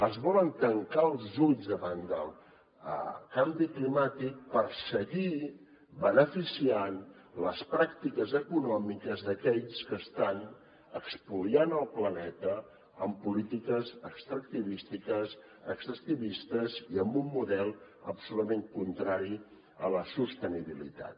ens volen tancar els ulls davant del canvi climàtic per seguir beneficiant les pràctiques econòmiques d’aquells que estan espoliant el planeta amb polítiques extractivistes i amb un model absolutament contrari a la sostenibilitat